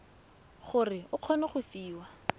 gore o kgone go fiwa